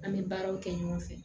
An bɛ baaraw kɛ ɲɔgɔn fɛ